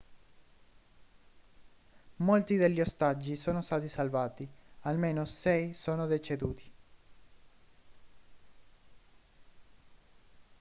molti degli ostaggi sono stati salvati almeno sei sono deceduti